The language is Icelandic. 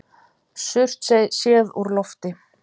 Surtsey séð úr lofti.